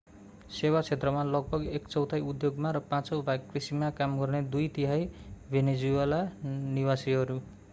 सेवा क्षेत्रमा लगभग एक चौथाइ उद्योगमा र पाँचौँ भाग कृषिमा काम गर्ने दुई तिहाइ भेनेजुएला निवासीहरू